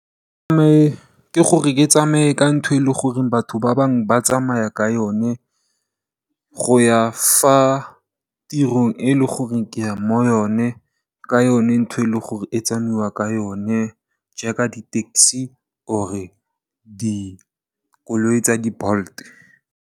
Ke gore ke tsamaye ka ntho e leng gore batho ba bangwe ba tsamaya ka yone go ya ko tirong e leng gore ke ya ko yone, ka yone ntho e leng gore go tsamaiwa ka yone, jaaka di tekisi or dikoloi tsa di BOLT.